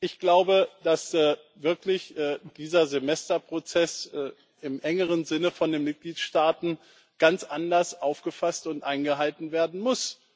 Ich glaube wirklich, dass dieser Semesterprozess im engeren Sinne von den Mitgliedstaaten ganz anders aufgefasst und eingehalten werden muss.